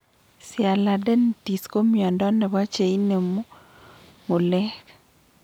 Sialadenitis ko miondo nebo cheinemu ngulek